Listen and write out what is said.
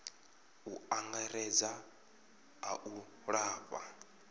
u angaredza a u lafha